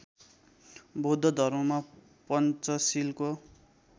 बौद्ध धर्ममा पञ्चशीलको